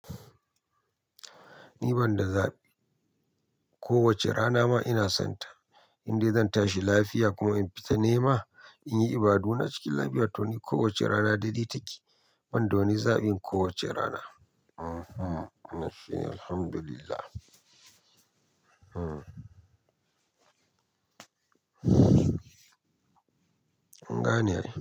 Ni banda zaɓi. Kowace rana ma ina sonta. Indai zan tashi lafiya kuma in fita nema in yi ibaduna cikin lafiya to ni kowace rana dade take. Ban da wani zaɓin kowace rana. Mhm, na fi alhamdulillah. Kun Gane ai.